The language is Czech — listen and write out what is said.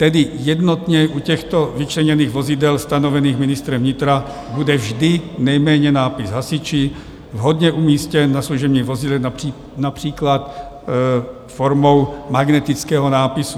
Tedy jednotně u těchto vyčleněných vozidel stanovených ministrem vnitra bude vždy nejméně nápis Hasiči vhodně umístěn na služebních vozidle, například formou magnetického nápisu.